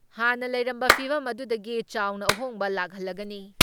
ꯍꯥꯟꯅ ꯂꯩꯔꯝꯕ ꯐꯤꯚꯝ ꯑꯗꯨꯗꯒꯤ ꯆꯥꯎꯅ ꯑꯍꯣꯡꯕ ꯂꯥꯛꯍꯜꯂꯒꯅꯤ ꯫